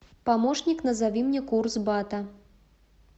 помощник назови мне курс бата